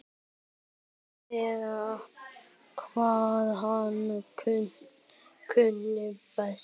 Vissi hvað hann kunni best.